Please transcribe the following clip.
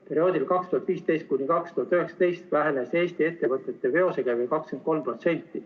Perioodil 2015–2019 vähenes Eesti ettevõtete veosekäive 23%.